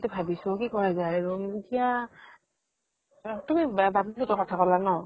ভাবিছো কি কৰা যায় আৰু । এতিয়া, তুমি বা বাবলু হতঁৰ ঘৰ ত থকা বুলি কলা ন ?